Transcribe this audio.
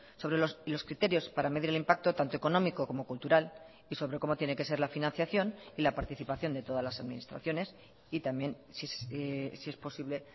sobre los criterios para medir el impacto tanto económico como cultural y sobre cómo tiene que ser la financiación y la participación de todas las administraciones y también si es posible